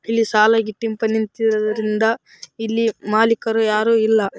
ಇಲ್ಲಿ ಸಾಲಾಗಿ ಟಿಂಪ ನಿಂತಿರುವುದರಿಂದ ಇಲ್ಲಿ ಮಾಲೀಕರು ಯಾರು ಇಲ್ಲ.